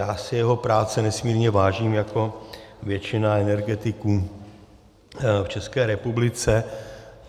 Já si jeho práce nesmírně vážím jako většina energetiků v České republice.